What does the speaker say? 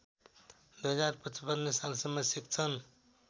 २०५५ सालसम्म शिक्षण